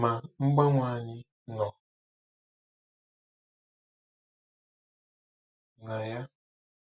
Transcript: Ma mgbanwe anyị nọ na ya.